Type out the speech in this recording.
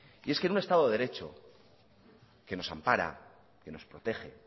y es que en un estado de derecho que nos ampara que nos protege